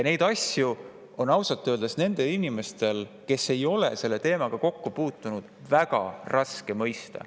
Neid asju on inimestel, kes ei ole selle teemaga kokku puutunud, ausalt öeldes väga raske mõista.